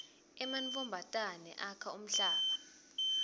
emantfombatane akha umhlanga